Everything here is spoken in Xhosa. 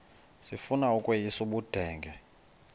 sifuna ukweyis ubudenge